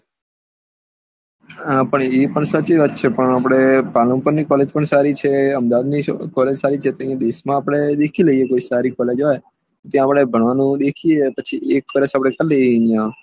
હા પણ એ પણ સાચી વાત છે પણ આપડે પાલનપુર ની college પણ સારી છે અહેમદાબાદ ની college સારી છે બીજે ક્યાં સારી college હોય ત્યાં આપડે ભણવાનું દેખિયે પછી એક વર્ષા કરી લઇ એ આપડે